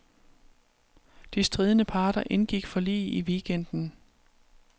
De stridende parter indgik forlig i weekenden.